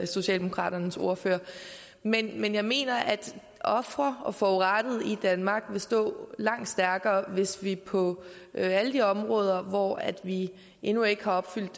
socialdemokraternes ordfører men jeg mener at ofre og forurettede i danmark vil stå langt stærkere hvis vi på alle de områder hvor vi endnu ikke har opfyldt